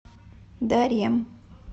дарем